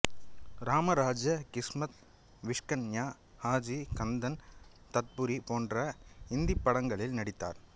ராம ராஜ்யா கிஸ்மத் விஷ்கன்யா ஷாஜி கந்தன் தத்புரி போன்ற இந்திப் படங்களில் நடித்தார்